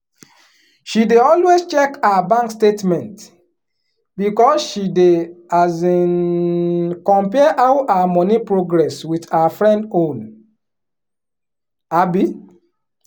she dey always check her bank statementbecause she dey um compare how her money progress with her friend own. um